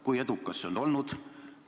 Kui edukas see on olnud?